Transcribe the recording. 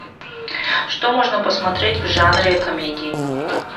что можно посмотреть в жанре комедии